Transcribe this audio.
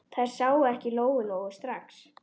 Þær sáu ekki Lóu-Lóu strax.